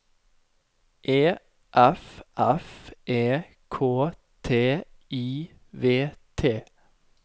E F F E K T I V T